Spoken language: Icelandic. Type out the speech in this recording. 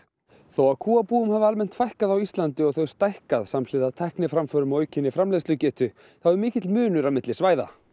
þó að kúabúum hafi almennt fækkað á Íslandi og þau stækkað samhliða tækniframförum og aukinni framleiðslugetu þá er mikill munur á milli svæða